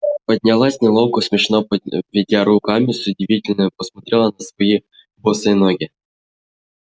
поднялась неловко смешно поведя руками с удивлением посмотрела на свои босые ноги